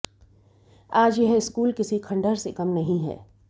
आज यह स्कूल किसी खंडहर से कम नहीं है